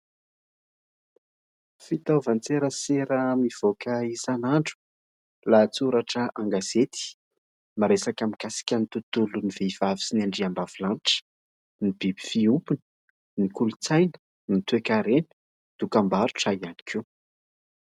Fiitaovan-tserasera mivoaka isan'andro, lahatsoratra an-gazety miresaka mikasika ny tontolon'ny vehivavy sy ny andriam-bavy lanitra, ny biby fiompiny, ny kolontsaina ny toe-karena, dokam-barotra iany koa